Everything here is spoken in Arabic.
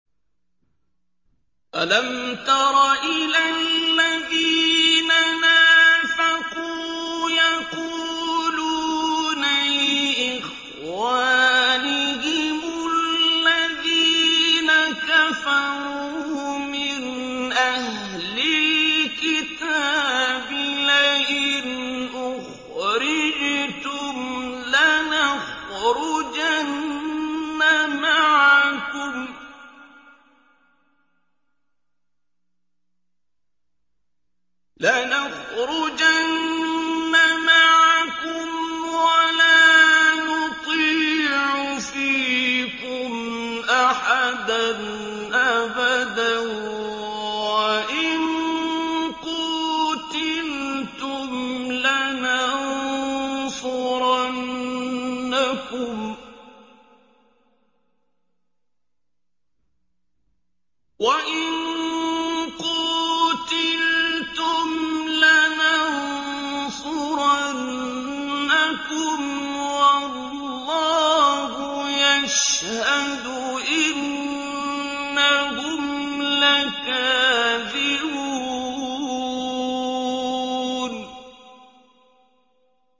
۞ أَلَمْ تَرَ إِلَى الَّذِينَ نَافَقُوا يَقُولُونَ لِإِخْوَانِهِمُ الَّذِينَ كَفَرُوا مِنْ أَهْلِ الْكِتَابِ لَئِنْ أُخْرِجْتُمْ لَنَخْرُجَنَّ مَعَكُمْ وَلَا نُطِيعُ فِيكُمْ أَحَدًا أَبَدًا وَإِن قُوتِلْتُمْ لَنَنصُرَنَّكُمْ وَاللَّهُ يَشْهَدُ إِنَّهُمْ لَكَاذِبُونَ